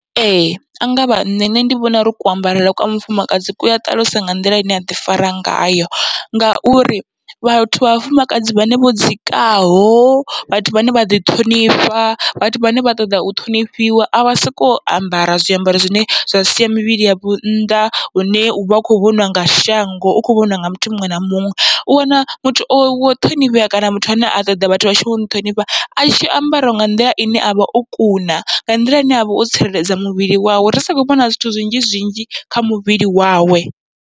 Ee angavha nṋe nṋe ndi vhona uri kuambarele kwa mufumakadzi kua ṱalusa nga nḓila ine aḓi fara ngayo, ngauri vhathu vha vhafumakadzi vhane vho dzikaho vhathu vhane vhaḓi ṱhonifha, vhathu vhane vha ṱoḓa u ṱhonifhiwa avha soko ambara zwiambaro zwine zwa sia mivhili yavho nnḓa, hune uvha u kho vhoniwa nga shango u kho vhoniwa nga muthu muṅwe na muṅwe. U wana muthu o ṱhonifhea kana muthu ane a ṱoḓa vhathu vha tshi muṱhonifha atshi ambara nga nḓila ine avha o kuna, nga nḓila ine avha o tsireledza muvhili wawe, ri si kho vhona zwithu zwinzhi zwinzhi kha muvhili wawe.